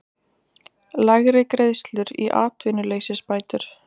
Lægri greiðslur í atvinnuleysisbætur